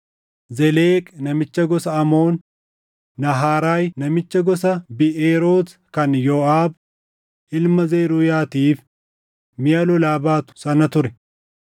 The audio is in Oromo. Zeleq namicha gosa Amoon, Nahaaraay namicha gosa Biʼeeroot kan Yooʼaab ilma Zeruuyaatiif miʼa lolaa baatu sana ture;